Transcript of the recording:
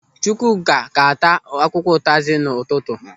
Chukwuka ga-ata akwụkwọ ụtazi n'ụtụtụ.